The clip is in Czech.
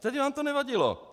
Tehdy vám to nevadilo.